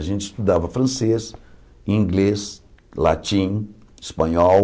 A gente estudava francês, inglês, latim, espanhol.